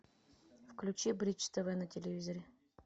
включи бридж тв на телевизоре